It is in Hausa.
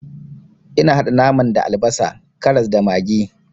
Ina haɗa naman da albasa, karas, da maggi.